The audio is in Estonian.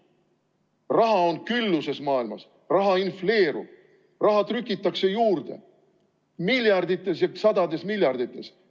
Raha on maailmas külluses, raha infleerub, raha trükitakse juurde miljardites ja sadades miljardites.